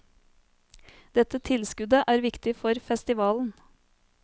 Dette tilskuddet er viktig for festivalen.